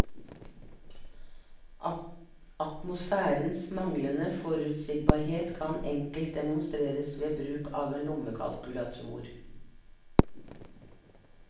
Atmosfærens manglende forutsigbarhet kan enkelt demonstreres ved bruk av en lommekalkulator.